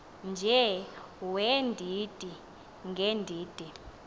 nje weendidi ngeendidi